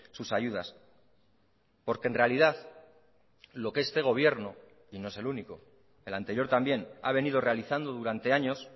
sus ayudas porque en realidad lo que este gobierno y no es el único el anterior también ha venido realizando durante años